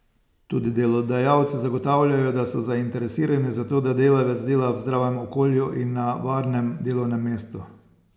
Tudi delodajalci zagotavljajo, da so zainteresirani za to, da delavec dela v zdravem okolju in na varnem delovnem mestu.